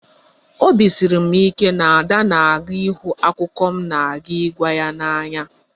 Obi siri m ike na Ada ga-ahụ akụkọ m na-aga ịgwa ya n'anya